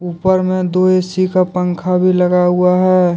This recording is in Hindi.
ऊपर में दो ए_सी का पंखा भी लगा हुआ है।